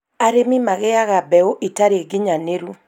Arĩmi magĩaga mbeu itarĩ nginyanĩru